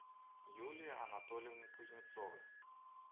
юлии анатольевне кузнецовой